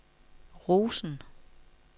Rosen